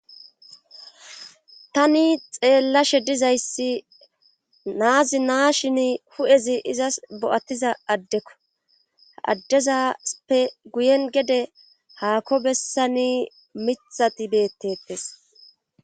Tani xeellashe dizayssi naazi naa shin hu'ezi izas bo'attiza addekko addezaspe guyen gede haako bessani mithati bettetes.